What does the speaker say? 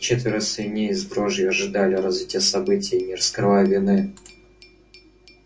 четверо свиней с дрожью ожидали развития событий не скрывая вины